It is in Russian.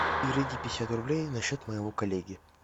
переведи пятьдесят рублей на счет моего коллеги